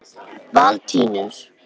Valentínus